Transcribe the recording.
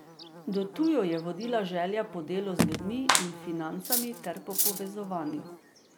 Do tu jo je vodila želja po delu z ljudmi in financami ter po povezovanju.